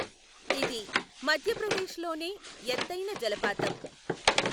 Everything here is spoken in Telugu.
ఇది మధ్యప్రదేశ్లోనే ఎత్తైన జలపాతం.